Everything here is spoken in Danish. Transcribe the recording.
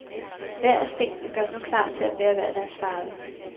Hver af stenene gøres nu klar til at bære hver deres farve.